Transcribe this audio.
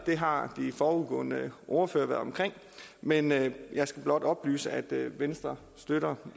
har de foregående ordførere været omkring men jeg skal blot oplyse at venstre støtter